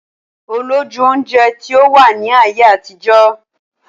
Olójú oúnjẹ tí ó wà ní ayé àtijọ́